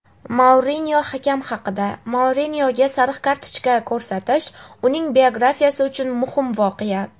Mourinyo hakam haqida: "Mourinyoga sariq kartochka ko‘rsatish — uning biografiyasi uchun muhim voqea".